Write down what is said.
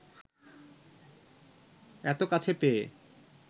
এত কাছে পেয়ে